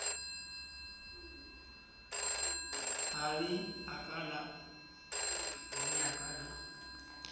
ha le a ka la